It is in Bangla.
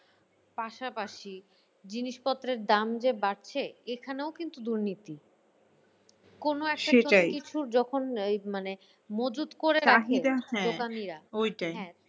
পাশাপাশি জিনিস পত্রের দাম যে বাড়ছে এখানেও কিন্তু দুর্নীতি। কোনো কিছু যখন এই মানে মজুত করে হ্যাঁ দোকানিরা ওইটাই হ্যাঁ